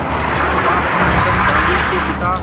मोहनदास करमचंद गांधी के पिता